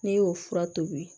Ne y'o fura tobi